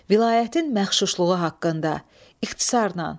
Vilayətin məxşuşluğu haqqında, ixtisarən.